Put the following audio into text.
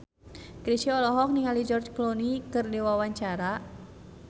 Chrisye olohok ningali George Clooney keur diwawancara